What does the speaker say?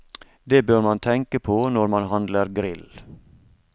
Det bør man tenke på når man handler grill.